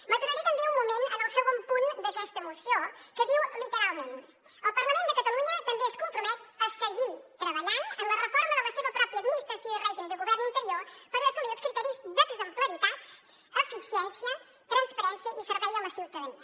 m’aturaré també un moment en el segon punt d’aquesta moció que diu literalment el parlament de catalunya també es compromet a seguir treballant en la reforma de la seva pròpia administració i règim de govern interior per assolir els criteris d’exemplaritat eficiència transparència i servei a la ciutadania